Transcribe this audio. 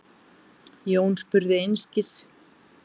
Jón spurði einskis.